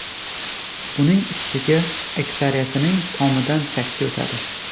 Buning ustiga, aksariyatining tomidan chakka o‘tadi.